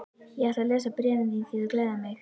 Ég ætla að lesa bréfin þín því þau gleðja mig.